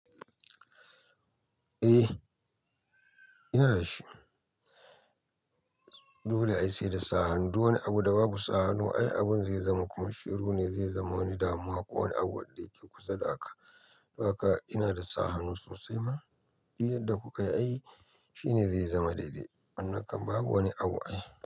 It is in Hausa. Eh, ina da shi. Dole ayi sai da sa hannu. Duk wani abu da baku sa hannu, ai abun zai zama kuma shiru ne zai zama wani damuwa ko wani abu wadda kuke kusa da haka. Dan haka ina da sa hannu sosai ma, duk yadda kuka yi ai. Shine zai zama daidai. Wannan kam babu wani abu ai.